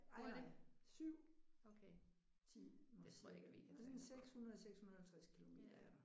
Ej nej 7 timer cirka det er sådan 600 650 kilometer